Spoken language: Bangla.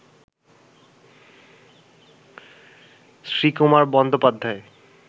শ্রীকুমার বন্দ্যোপাধ্যায়